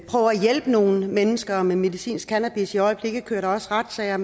hjælpe nogle mennesker med medicinsk cannabis i øjeblikket kører der også retssager